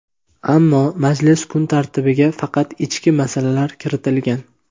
ammo majlis kun tartibiga faqat ichki masalalar kiritilgan.